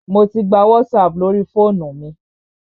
Mò tí gbà WhatsApp lórí fóònù mi.